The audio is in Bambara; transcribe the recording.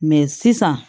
sisan